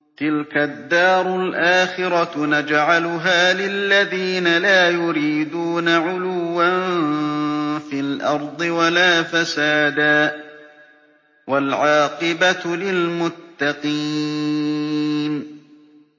تِلْكَ الدَّارُ الْآخِرَةُ نَجْعَلُهَا لِلَّذِينَ لَا يُرِيدُونَ عُلُوًّا فِي الْأَرْضِ وَلَا فَسَادًا ۚ وَالْعَاقِبَةُ لِلْمُتَّقِينَ